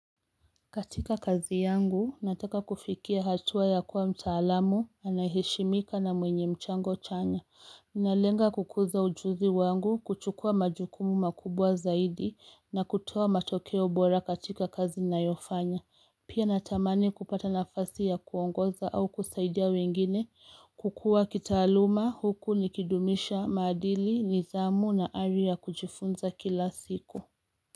Katika kazi yangu, nataka kufikia hatua ya kuwa mtaalamu, anayeheshimika na mwenye mchango chanya. Nalenga kukuza ujuzi wangu, kuchukua majukumu makubwa zaidi, na kutuwaa matokeo bora katika kazi nayofanya. Pia natamani kupata nafasi ya kuongoza au kusaidia wengine, kukuwa kitaaluma huku nikidumisha madili, nidhamu na ari ya kujifunza kila siku.